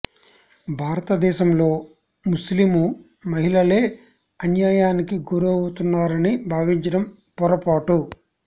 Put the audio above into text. భారత దేశంలో ముస్లిము మహిళలే అన్యాయానికి గురవు తున్నారని భావించడం పొరపాటు